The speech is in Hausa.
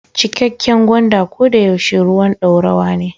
Cikakken gwanda ko da yaushe ruwan dorawa ne.